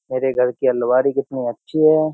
मेरे घर की अलवारी कितनी अच्छी है।